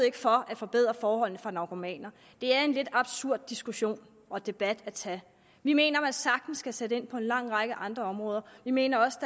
ikke for at forbedre forholdene for narkomaner det er en lidt absurd diskussion og debat at tage vi mener man sagtens kan sætte ind på en lang række andre områder vi mener også